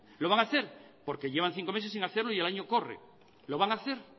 lo van a hacer porque llevan cinco meses sin hacerlo y el año corre lo van a hacer